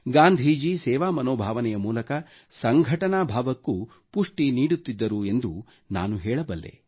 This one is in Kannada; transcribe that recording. ಗಾಂಧೀಜಿ ಸೇವಾ ಮನೋಭಾವನೆಯ ಮೂಲಕ ಸಂಘಟನಾ ಭಾವಕ್ಕೂ ಪುಷ್ಟಿ ನೀಡುತ್ತಿದ್ದರು ಎಂದು ನಾನು ಹೇಳಬಲ್ಲೆ